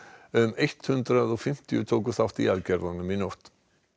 um hundrað og fimmtíu björgunarsveitarmenn tóku þátt í aðgerðunum í nótt